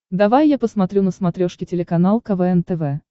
давай я посмотрю на смотрешке телеканал квн тв